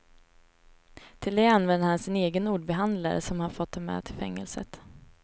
Till det använder han sin egen ordbehandlare som han fått ta med till fängelset.